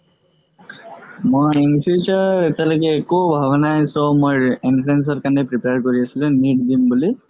মই in future এতিয়ালৈকে একো ভাবা নাই so মই entrance ৰ কাৰণে prepare কৰি আছো যে নীত দিম বুলি